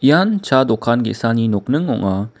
ian cha dokan ge·sani nokning ong·a.